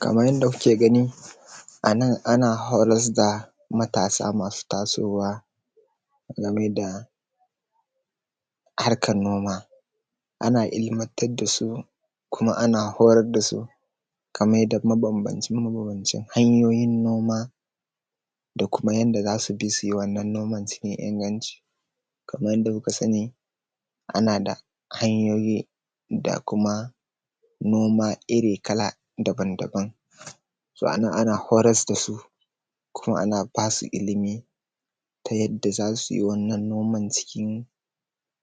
kaman yanda kuke ganin anan ana horas da matasa masu tasowa game da harkan noma ana ilmantar dasu kuma ana horas da su kaman mabanbanci mabanbancin noma da kuma yanda zasu bi suyi wannan noman tayi inganci kaman yanda kuka sani ana da hanyoyi da kuma noma iri kala daban-daban so anan ana horas dasu kuma ana basu ilmi ta yadda zasu yi noman cikin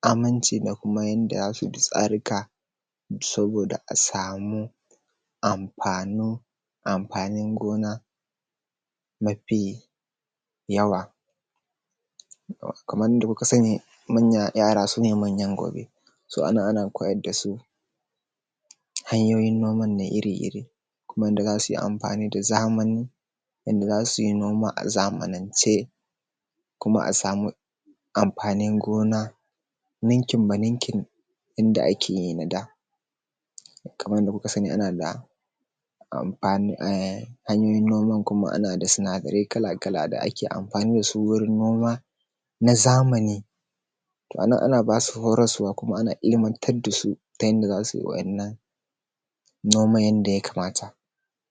aminci da kuma yanda zasu bi tsaruka saboda a samu amfanin gona mafi yawa kaman yanda kuka sani yara sune manyan gobe ana koyar dasu hanyoyin noman iri-iri kuma yanda zasuyi amfani da zamani inda za suyi noma a zamanince kuma a samu amfanin gona ninkin baninkin inda akeyi na da kaman yanda kuka sani hanyoyin noman kuma ana da sinadarai kala-kala da ake amfani dasu wajen noma na zamani to anan ana basu horaswa kuma ana ilmantar dasu ta yanda zasuyi waɗannan noman yanda ya kamata